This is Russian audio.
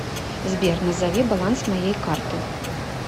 сбер назови баланс моей карты